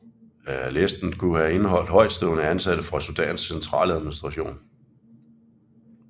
Listen kunne have indeholdt højtstående ansatte fra Sudans centraladministration